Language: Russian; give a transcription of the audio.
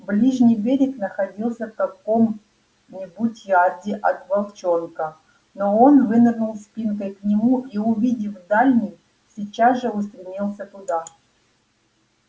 ближний берег находился в каком нибудь ярде от волчонка но он вынырнул спинкой к нему и увидев дальний сейчас же устремился туда